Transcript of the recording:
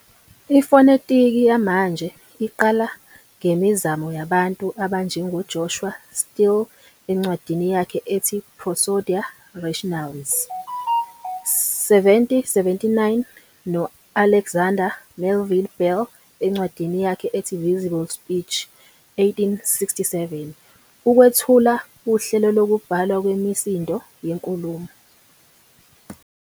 Ifonetiki yamanje iqala ngemizamo yabantu abanjengoJoshua Steele, encwadini yakhe ethi "Prosodia Rationalis", 1779, no-Alexander Melville Bell, encwadini yakhe ethi "Visible Speech", 1867, ukwethula uhlelo lokubhalwa kwemisindo yenkulumo.